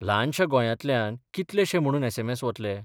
ल्हानश्या गोंयांतल्यान कितलेशे म्हणून एसएमएस बतले?